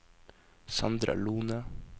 Sandra Lohne